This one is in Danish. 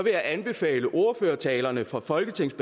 jeg anbefale ordførertalerne fra folketingets